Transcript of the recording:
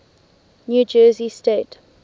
new jersey state